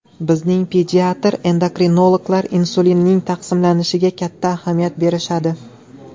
Bizning pediatr-endokrinologlar insulinning taqsimlanishiga katta ahamiyat berishadi.